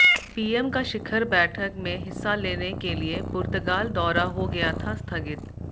PM का शिखर बैठक में हिस्सा लेने के लिए पुर्तगाल दौरा हो गया था स्थगित